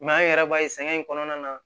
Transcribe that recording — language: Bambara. an yɛrɛ b'a ye sɛgɛn in kɔnɔna na